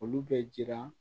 Olu bɛ jiran